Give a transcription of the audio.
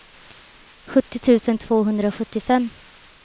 sjuttio tusen tvåhundrasjuttiofem